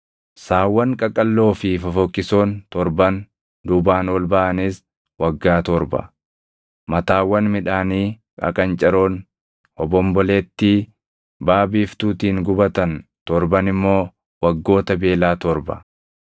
Saawwan qaqalloo fi fofokkisoon torban duubaan ol baʼanis waggaa torba; mataawwan midhaanii qaqancaroon hobombolettii baʼa biiftuutiin gubatan torban immoo waggoota beelaa torba.